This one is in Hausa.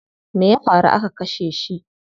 Me ya faru aka kashe shi?